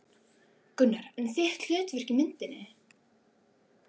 Gunnar: En þitt hlutverk í myndinni?